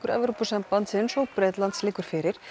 Evrópusambandsins og Bretlands liggur fyrir